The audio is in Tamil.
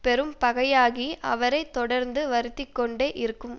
பெரும் பகையாகி அவரை தொடர்ந்து வருத்திக்கொண்டே இருக்கும்